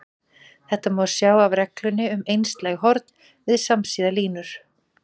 Þetta má sjá af reglunni um einslæg horn við samsíða línur.